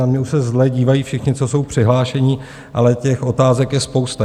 Na mě už se zle dívají všichni, co jsou přihlášeni, ale těch otázek je spousta.